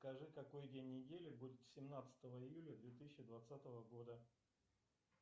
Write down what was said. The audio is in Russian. скажи какой день недели будет семнадцатого июля две тысячи двадцатого года